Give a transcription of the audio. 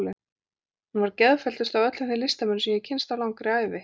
Hún var geðfelldust af öllum þeim listamönnum sem ég hefi kynnst á langri ævi.